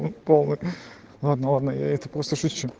полный ладно ладно это просто шучу